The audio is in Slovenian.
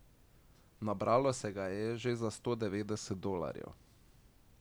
Nabralo se ga je že za sto devetdeset dolarjev.